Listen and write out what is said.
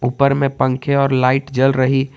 ऊपर में पंखे और लाइट जल रही।